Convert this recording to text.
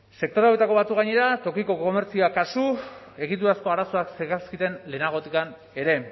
sektore hauetako batzuk gainera tokiko komertzioak kasu egiturazko arazoak zekarzkiten lehenagotik ere